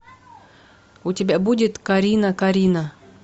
у тебя будет карина карина